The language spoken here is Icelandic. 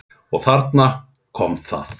Og þarna kom það.